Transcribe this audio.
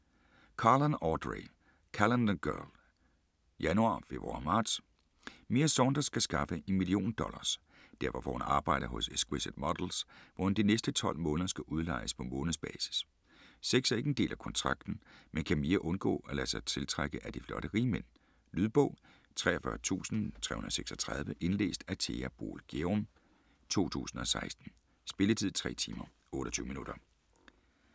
Carlan, Audrey: Calendar girl: Januar, februar, marts Mia Saunders skal skaffe en million dollars. Derfor får hun arbejde hos Exquisite Models, hvor hun de næste 12 måneder skal udlejes på månedsbasis. Sex er ikke en del af kontrakten, men kan Mia undgå at lade sig tiltrække af de flotte rigmænd?. Lydbog 43336 Indlæst af Thea Boel Gjerum, 2016. Spilletid: 3 timer, 28 minutter.